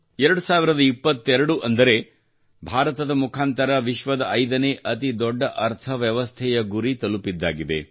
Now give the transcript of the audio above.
2022 ಅಂದರೆ ಭಾರತದ ಮುಖಾಂತರ ವಿಶ್ವದ 5 ನೇ ಅತಿ ದೊಡ್ಡ ಅರ್ಥವ್ಯವಸ್ಥೆಯ ಗುರಿ ತಲುಪಿದ್ದಾಗಿದೆ